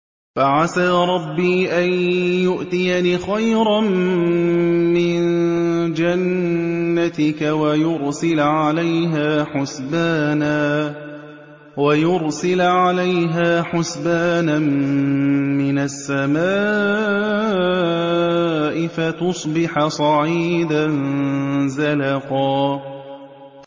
فَعَسَىٰ رَبِّي أَن يُؤْتِيَنِ خَيْرًا مِّن جَنَّتِكَ وَيُرْسِلَ عَلَيْهَا حُسْبَانًا مِّنَ السَّمَاءِ فَتُصْبِحَ صَعِيدًا زَلَقًا